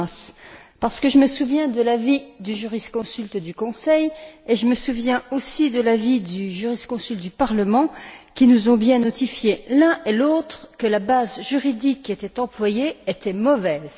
Dǐmas, parce que je me souviens de l'avis du jurisconsulte du Conseil et je me souviens aussi de l'avis du jurisconsulte du Parlement, qui nous ont bien notifié, l'un et l'autre, que la base juridique qui était employée était mauvaise.